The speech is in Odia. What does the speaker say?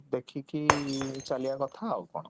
ଦେଖିକି ଚାଲିବା କଥା ଆଉ କଣ?